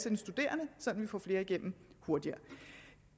sådan at vi får flere igennem hurtigere